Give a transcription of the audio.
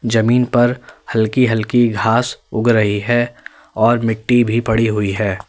जमीन पर हल्की हल्की घास उग रही है और मिट्टी भी पड़ी हुई है।